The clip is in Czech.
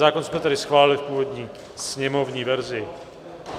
Zákon jsme tedy schválili v původní sněmovní verzi.